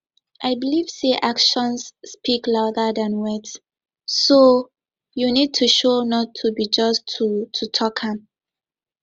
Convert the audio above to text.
i believe say actions speak louder than words so you need to show not be just to to talk am